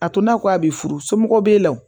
A to n'a ko a bɛ furu somɔgɔw b'e la wo